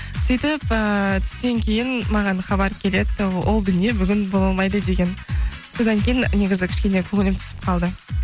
сөйтіп ііі түстен кейін маған хабар келеді ол дүние бүгін бола алмайды деген содан кейін негізі кішкене көңілім түсіп қалды